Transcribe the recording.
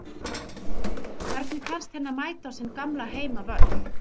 Hvernig fannst henni að mæta á sinn gamla heimavöll?